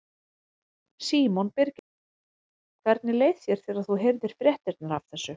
Símon Birgisson: Hvernig leið þér þegar þú heyrðir fréttirnar af þessu?